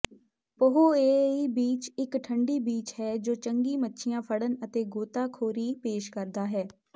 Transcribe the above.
ਪਹੋਏਏਈ beach ਇੱਕ ਠੰਡੀ beach ਹੈ ਜੋ ਚੰਗੀ ਮੱਛੀਆਂ ਫੜਨ ਅਤੇ ਗੋਤਾਖੋਰੀ ਪੇਸ਼ ਕਰਦਾ ਹੈ